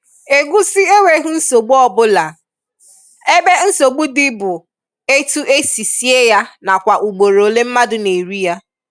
Egusi enweghi nsogbu ọbụla, ebe nsogbu dị bụ etu e si sie ya nakwa ugboro ole mmadụ na-eri ya